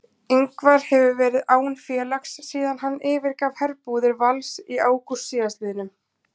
Ingvar hefur verið án félags síðan hann yfirgaf herbúðir Vals í ágúst síðastliðnum.